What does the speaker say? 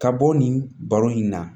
Ka bɔ nin baro in na